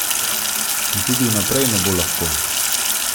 In tudi vnaprej ne bo lahko.